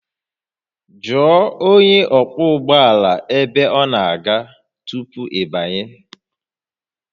Jụọ onye ọkwọ ụgbọ ala ebe ọ na-aga tupu ị banye